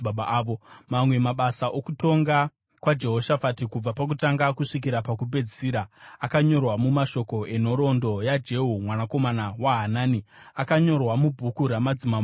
Mamwe mabasa okutonga kwaJehoshafati kubva pakutanga kusvikira pakupedzisira, akanyorwa mumashoko enhoroondo yaJehu mwanakomana waHanani, akanyorwa mubhuku ramadzimambo eIsraeri.